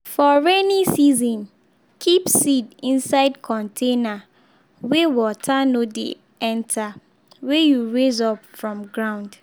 for rainy season keep seed inside container weh water no de enter wey you raise up from ground.